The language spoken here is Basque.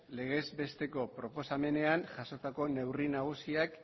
legez besteko proposamenean jasotako neurri nagusiak